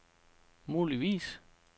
muligvis